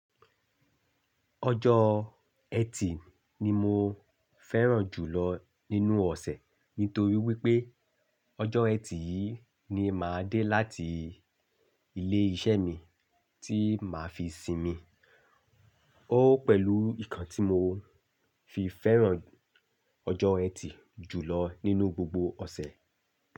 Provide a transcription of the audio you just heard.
Ọjọ́ eti ni mo fẹran jù lọ nínú ọ̀sẹ̀ nítorí wipé ọjọ́ eti yìí ni màá dé láti ilé iṣẹ́ mi tí màá fi sìnmi. Ó pẹ̀lú nkan ti mo fi fẹ́ran ọjọ́ eti jùlọ nínú gbogbo ọ̀sẹ̀.